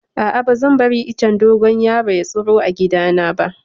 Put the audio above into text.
A'a, ba zan bari icen dogon yaro ya tsiro a gidana ba.